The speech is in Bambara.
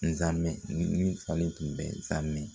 Nzamɛn min faalen tun bɛ nzamɛn